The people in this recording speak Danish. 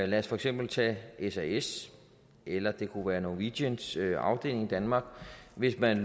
lad os for eksempel tage sas eller det kunne være norwegians afdeling i danmark hvis man